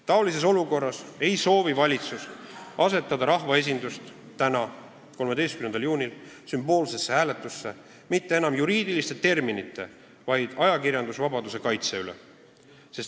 Taolises olukorras ei soovi valitsus täna, 13. juunil, panna rahvaesindust osalema sümboolses hääletuses mitte enam juriidiliste terminite, vaid ajakirjandusvabaduse kaitse üle.